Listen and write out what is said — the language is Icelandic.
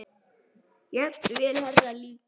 Jafnvel Heru líka.